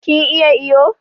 Kin iya iyo?